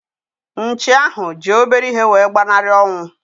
Nchi ahu ji obere ihe wee gbanari onwu